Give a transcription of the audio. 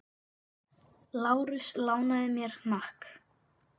Lárus lánaði mér hnakk.